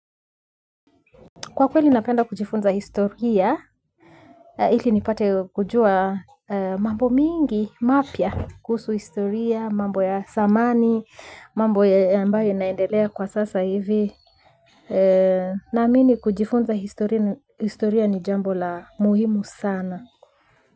Kwa kweli napenda kujifunza historia, ili nipate kujua mambo mingi, mapya, kuhusu historia, mambo ya zamani, mambo ambayo inaendelea kwa sasa hivi, na amini kujifunza historia ni jambo la muhimu sana.